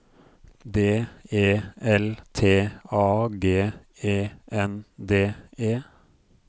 D E L T A G E N D E